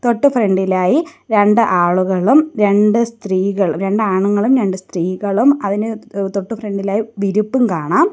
തൊട്ടു ഫ്രണ്ടി ലായി രണ്ട് ആളുകളും രണ്ട് സ്ത്രീകൾ രണ്ട് ആണുങ്ങളും രണ്ട് സ്ത്രീകളും അതിന് തൊട്ട് ഫ്രണ്ടി ലായി വിരിപ്പും കാണാം.